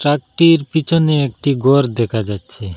ট্রাকটির পিছনে একটি গর দেখা যাচ্ছে।